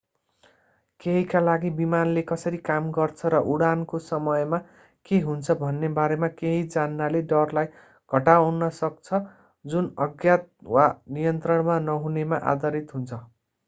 केहीका लागि विमानले कसरी काम गर्छ र उडानको समयमा के हुन्छ भन्ने बारेमा केही जान्नाले डरलाई हटाउन सक्छ जुन अज्ञात वा नियन्त्रणमा नहुनेमा आधारित हुन्छ